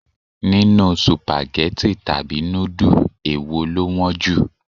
Nínú Sùpàgẹ́tì tàbí núdù, èwo lọ wọ́n jù?